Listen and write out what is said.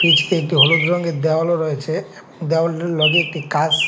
একটি হলুদ রঙের দেওয়ালও রয়েছে দেওয়ালটার লগে একটি কাঁচ--